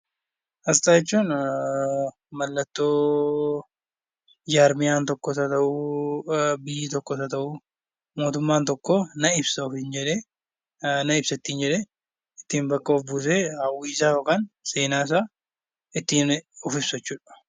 Asxaa jechuun mallattoo biyyi tokko yookiin jaarmiyaan tokko yookiin mootummaan tokko na ibsa jedhee bakka ittin of buusee hawwiisaa yookiin seenaa isaa ittiin ibsu jechuudha.